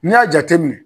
N'i y'a jateminɛ